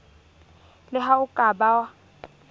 le ha o ka ba